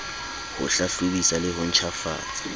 ho hlahlobisa le ho ntjhafatsa